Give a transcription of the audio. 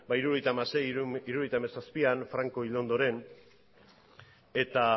mila bederatziehun eta hirurogeita hamaseian mila bederatziehun eta hirurogeita hamazazpian franko hil ondoren eta